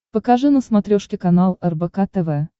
покажи на смотрешке канал рбк тв